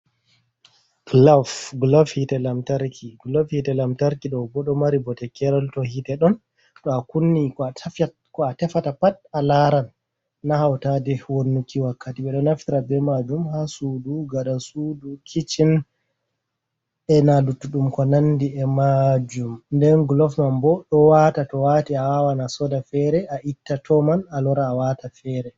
Glof hite lamtarki. Glof hite lamtarki do beɗo mari bote keral to hite don. To a kunni ko a tefata pat a laran na hautade wannuki wakkati, be do naftira be majum ha sudu, gaɗa sudu, kici e na luttudum ko nandi e majum. Nden glof man bo ɗo wata, to wati a wawan a soda fere a itta to man a lora a wata fere.